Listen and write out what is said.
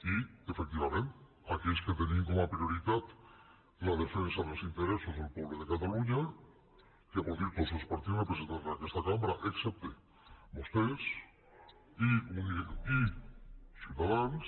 i efectivament aquells que tenim com a prioritat la defensa dels interessos del poble de catalunya que vol dir tots els partits representants en aquesta cambra excepte vostès i ciutadans